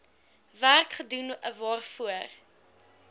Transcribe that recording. werk gedoen waarvoor